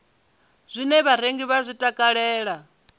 zwine vharengi vha zwi takalela